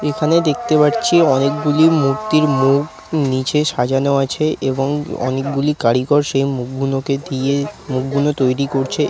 এখানে দেখতে পাচ্ছি অনেকগুলি মূর্তির মুখ নিচে সাজানো আছে এবং অনেকগুলি কারিগর সেই মুখগুলোকে দিয়ে মুখগুলো তৈরী করছে।